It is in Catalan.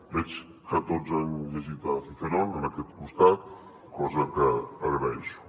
veig que tots han llegit cicerón en aquest costat cosa que agraeixo